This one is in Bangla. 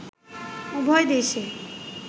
উভয় দেশেই